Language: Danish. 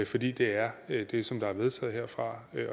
fordi det er det som der er vedtaget herfra